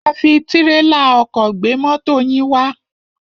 A fi tírélà ọkọ̀ gbé mọ́to yín wá.